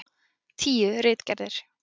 Tíu ritgerðir.